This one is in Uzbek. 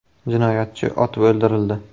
Jinoyatchi otib o‘ldirildi.